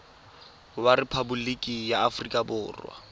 wa rephaboliki ya aforika borwa